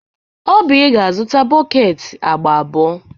Oby ga-azụta bọket agba abụọ.